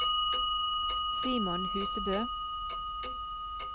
Simon Husebø